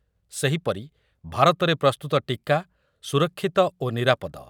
ସେହିପରି ଭାରତରେ ପ୍ରସ୍ତୁତ ଟିକା ସୁରକ୍ଷିତ ଓ ନିରାପଦ ।